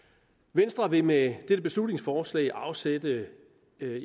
venstre vil med dette beslutningsforslag afsætte